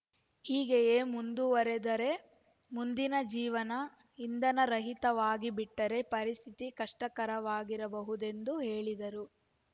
ಹೀಗೆಯೇ ಮುಂದುವರಿದರೆ ಮುಂದಿನ ಜೀವನ ಇಂಧನರಹಿತವಾಗಿಬಿಟ್ಟರೆ ಪರಿಸ್ಥಿತಿ ಕಷ್ಟಕರವಾಗಬಹುದೆಂದು ಹೇಳಿದರು